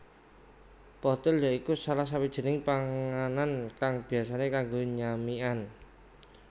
Pothil ya iku salah sawijining panganan kang biyasane kanggo nyamikan